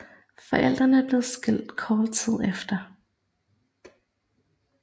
Forældrene blev skilt kort tid efter